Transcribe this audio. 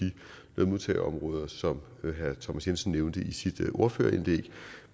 modtageområder som herre thomas jensen nævnte i sit ordførerindlæg